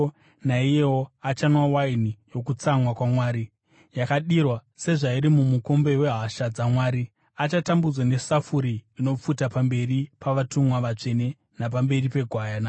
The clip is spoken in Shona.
naiyewo achanwa waini yokutsamwa kwaMwari, yakadirwa sezvairi mumukombe wehasha dzaMwari. Achatambudzwa nesafuri inopfuta pamberi pavatumwa vatsvene napamberi peGwayana.